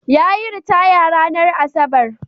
Yayi ritaya ranar Asabar.